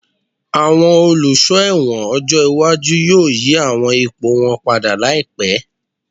Àwọn Olùsọ́ ẹ̀wọ̀n ọjọ́ iwájú yóò yí àwọn ipò wọn padà láìpá